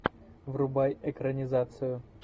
врубай экранизацию